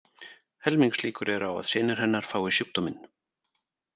Helmingslíkur eru á að synir hennar fái sjúkdóminn.